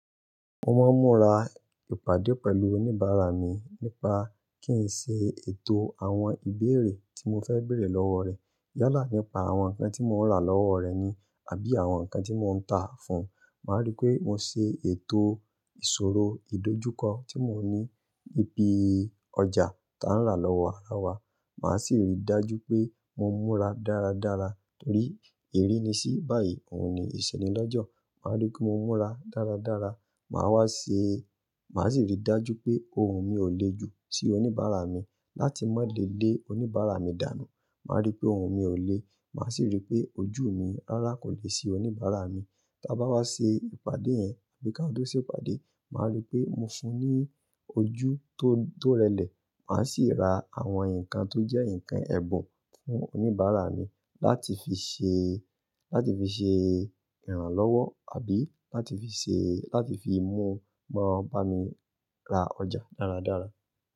Mo máa ń múra ìpàdé pẹ̀lú oníbàárà mi nípa kí n ṣe ètò àwọn ìbéèrè tí mo fẹ́ bèèrè lọ́wọ́ rẹ̀. Yálà nípa àwọn nǹkan tí mo rà lọ́wọ́ rẹ̀ ni àbí àwọn nǹkan tí mò ń tà fún un. Màá rí pé mo ṣe ètò ìṣòro ìdojúkọ tí mò ń ní, ni ìpì ọjà tá ń rà lọ́wọ́ wa, lowo wa. Màá sì rí dájú pé mo múra dáradára torí èrí ni sí báyìí, òun ni ìṣẹ́ni lọ́jọ́. Mà á rí pé mo múra dáradára. Màá wá ṣe, màá sì rí dájú pé ohun mi ò le ju si oníbàárà mi láti máa le lé oníbàárà mi dànù. Màá rí pé ohun mi ò le, màá sì rí pé ojú mi rárá kò le si oníbàárà mi. Ta bá wá ṣe ìpàdé yẹn àbí ka tó ṣe ìpàdé, màá rí pé mo fún un ní ojú tó, tó rẹlẹ̀. Màá sì ra àwọn nǹkan tó jẹ́ nǹkan ẹ̀bùn fún oníbàárà mi láti fi ṣe, láti fi ṣe ìrànlọ́wọ́ àbí láti fi ṣe, láti fi mú wọn bá mi ra ọjà dáradára.